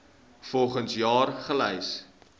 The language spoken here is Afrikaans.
volgens jaar gelys